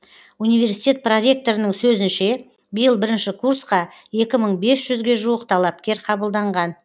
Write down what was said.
университет проректорының сөзінше биыл бірінші курсқа екі мың бес жүзге жуық талапкер қабылданған